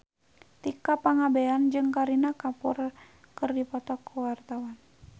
Tika Pangabean jeung Kareena Kapoor keur dipoto ku wartawan